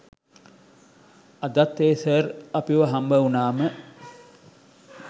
අදත් ඒ සර් අපිව හම්බුනාම